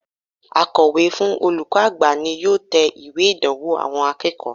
Akòwé fún olùkó àgbà ni yóò te ìwé ìdánwò àwon akéèkó